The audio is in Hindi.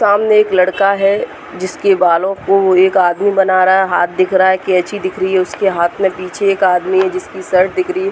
सामने एक लड़का है। जिसके बालों को एक आदमी बना रहा है। हाथ दिख रहा है कैंची दिख रही है। उसके हाथ में पीछे एक आदमी है जिसकी शर्ट दिख रही है।